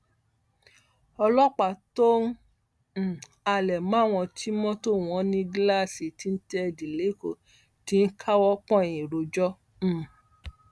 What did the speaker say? ọlọpàá tó ń um halẹ máwọn tí mọtò wọn ní gíláàsì tíntẹẹdì lẹkọọ ti ń káwọ pọnyìn rojọ um